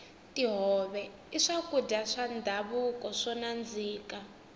tihove i swakudya swa ndhavuko swo nandzika